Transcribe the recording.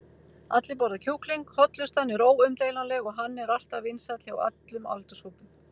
allir borða kjúkling, hollustan er óumdeilanleg og hann er alltaf vinsæll hjá öllum aldurshópum.